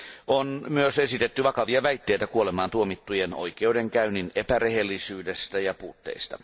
On myös esitetty vakavia väitteitä kuolemaantuomittujen oikeudenkäynnin epärehellisyydestä ja puutteista.